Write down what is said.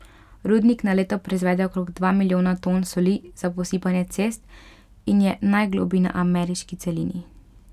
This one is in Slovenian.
Rudnik na leto proizvede okrog dva milijona ton soli za posipanje cest in je najgloblji na ameriški celini.